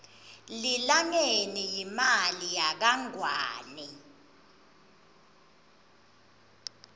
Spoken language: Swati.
lilangeni yimali yakangwane